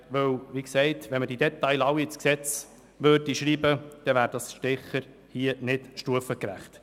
Würde man alle Details ins Gesetz schreiben, wäre das sicher hier nicht stufengerecht.